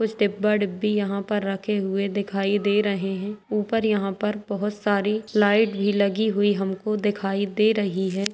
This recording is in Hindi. कुछ डिब्बा-डिब्बी यहाँ पर रखे हुए दिखाई दे रहे हैं ऊपर यहाँ पर बहुत सारी लाइट भी लगी हुई हमको दिखाई दे रही है।